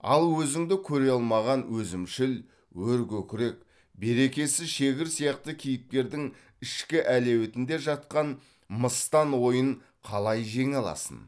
ал өзіңді көре алмаған өзімшіл өркөкірек берекесіз шегір сияқты кейіпкердің ішкі әлеуетінде жатқан мыстан ойын қалай жеңе аласың